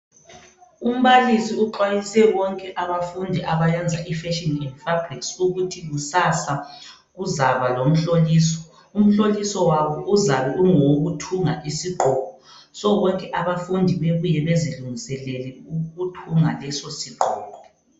Umbalisi uxwayise bonke abafundi abayenza iFashion and Fabrics ukuthi kusasa kuzaba lomhloliso. Umhloliso wabo uzabe ungowokuthunga isigqoko. So bonke abafundi bebuye bezilungiselele ukuthunga leso sigqoko.